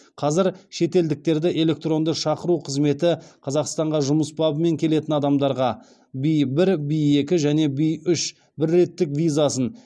қазір шетелдіктерді электронды шақыру қызметі қазақстанға жұмыс бабымен келетін адамдарға в бір в екі және в үш бір реттік визасын